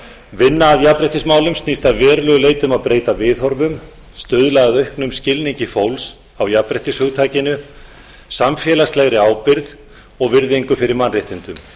vinna að jafnréttismálum snýst að verulegu leyti um að breyta viðhorfum stuðla að auknum skilningi fólks á jafnréttishugtakinu samfélagslegri ábyrgð og virðingu fyrir mannréttindum